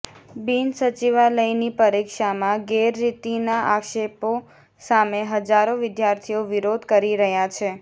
બિન સચિવાલયની પરીક્ષામાં ગેરરીતીના આક્ષેપો સામે હજારો વિદ્યાર્થીઓ વિરોધ કરી રહ્યાં છે